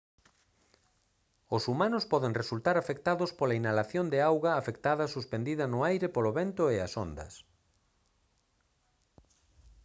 os humanos poden resultar afectados pola inhalación de auga afectada suspendida no aire polo vento e as ondas